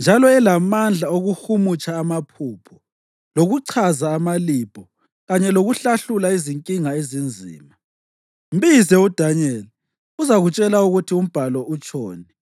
njalo elamandla okuhumutsha amaphupho, lokuchaza amalibho kanye lokuhlahlula izinkinga ezinzima. Mbize uDanyeli, uzakutshela ukuthi umbhalo utshoni.”